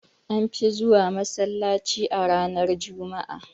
An fi zuwa masallaci a ranar juma'a